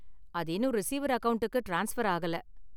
அது இன்னும் ரிசிவர் அக்கவுண்ட்டுக்கு ட்ரான்ஸ்பர் ஆகல.